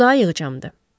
Bu daha yığcamdır.